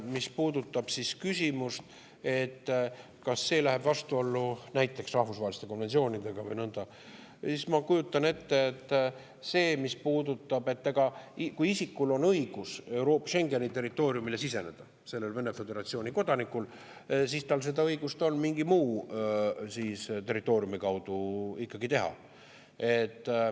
Mis puudutab küsimust, kas see läheb vastuollu näiteks rahvusvaheliste konventsioonidega või nõnda, siis ma kujutan ette, et kui isikul on õigus Schengeni territooriumile siseneda, sellel Vene föderatsiooni kodanikul, siis on tal õigus seda mingi muu territooriumi kaudu ikkagi teha.